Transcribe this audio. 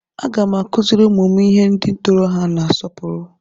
Aga m akụziri ụmụ m inye ndị tọrọ ha nsọpụrụ.